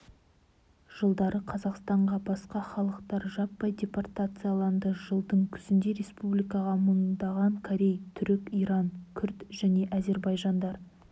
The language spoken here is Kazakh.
жылдары қазақстанға басқа халықтар жаппай депортацияланды жылдың күзінде республикаға мыңдаған корей түрік иран қүрд және әзербайжандар